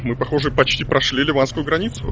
мы походу почти прошли ливанскую границу